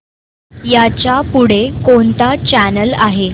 ह्याच्या पुढे कोणता चॅनल आहे